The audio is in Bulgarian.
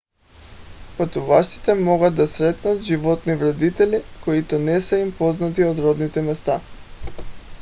пътуващите могат да срещнат животни вредители които не са им познати от родните места